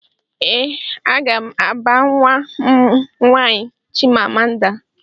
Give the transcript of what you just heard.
Ee aga m aba nwa m nwaanyị Chimamanda